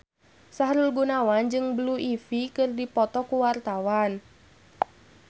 Sahrul Gunawan jeung Blue Ivy keur dipoto ku wartawan